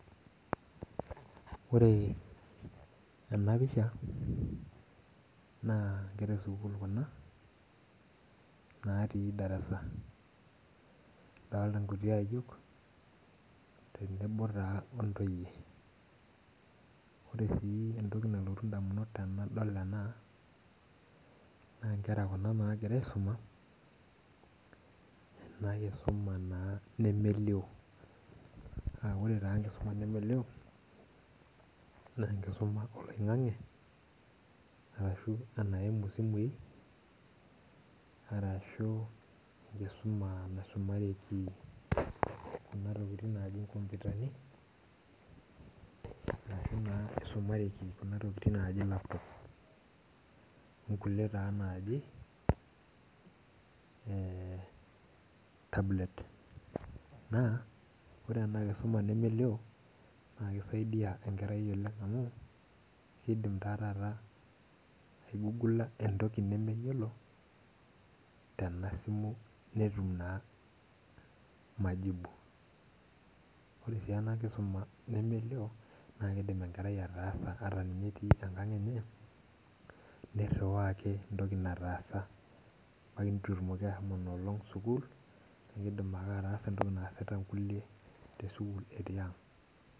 Ore enapisha, naa nkera esukuul kuna, natii darasa. Adolta nkuti ayiok, tenebo taa ontoyie. Ore si entoki nalotu indamunot tenadol ena, naa nkera kuna nagira aisuma, enakisuma naa nemelio. Ah ore taa enkisuma nemelio, nenkisuma oloing'ang'e, arashu enaimu simui, arashu enkisuma naisumareki kuna tokiting' naji nkompitani, ashu naa isumareki kuna tokiting' naji laptop. Onkulie taa naji, tablet. Naa, ore enakisuma nemelio, na kisaidia enkerai oleng' amu, kidim taa taata aigugula entoki nemeyiolo, tenasimu netum naa majibu. Ore si enakisuma nemelio, na kidim enkerai ataasa ata ninye etii enkang' enye, nirriwaa ake entoki nataasa. Ebaiki nitu etumoki ashomo nolong' sukuul, na kidim ake ataasa entoki naasita nkulie tesukuul etii ang'.